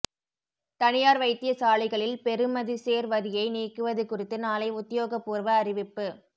தனியார் வைத்தியசாலைகளில் பெறுமதிசேர் வரியை நீக்குவது குறித்து நாளை உத்தியோகபூர்வ அறிவிப்பு